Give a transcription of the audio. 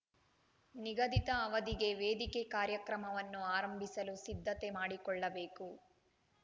ನಿಗದಿತ ಅವಧಿಗೆ ವೇದಿಕೆ ಕಾರ್ಯಕ್ರಮವನ್ನು ಆರಂಭಿಸಲು ಸಿದ್ದತೆ ಮಾಡಿಕೊಳ್ಳಬೇಕು